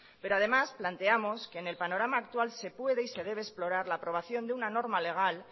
pero además planteamos que en el panorama actual se puede y se debe explorar la aprobación de una norma legal